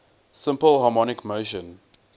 simple harmonic motion